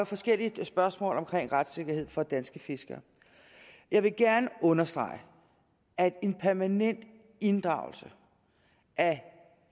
forskellige spørgsmål omkring retssikkerheden for danske fiskere jeg vil gerne understrege at en permanent inddragelse af